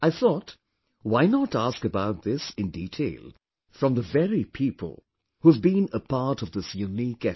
I thought, why not ask about this in detail from the very people who have been a part of this unique effort